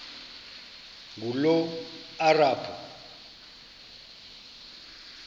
ngulomarabu